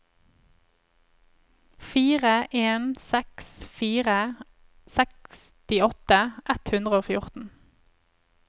fire en seks fire sekstiåtte ett hundre og fjorten